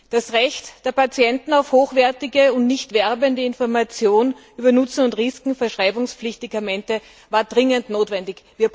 Das Recht der Patienten auf hochwertige und nichtwerbende Informationen über den Nutzen und die Risiken verschreibungspflichtiger Medikamente war dringend notwendig.